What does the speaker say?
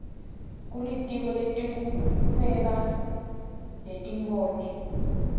kulitiko letekuhweba netimboni